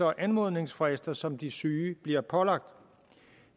og anmodningsfrister som de syge bliver pålagt